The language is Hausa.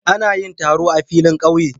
Ana yin taro a filin ƙauye.